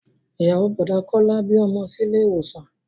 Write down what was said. Ìyàwó Bọ̀dá Kọ́lá bí ọmọ sí ilé ìwòsàn